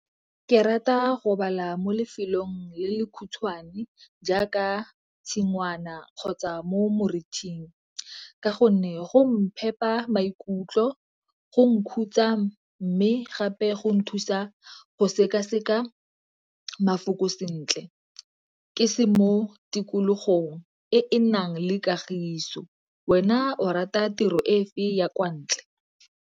Ke rata go bala mo lefelong le le khutshwane jaaka tshingwana kgotsa mo morithing ka gonne go mphepa maikutlo, go nktutsa gape go nthusa go sekaseka mafoko sentle ke se mo tikologong e e nang le kagiso. Wena o rata tiro e fe ya kwa ntle?